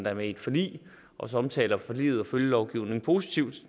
er med i et forlig også omtaler forliget og følgelovgivningen positivt